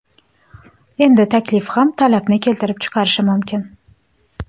Endi taklif ham talabni keltirib chiqarishi mumkin.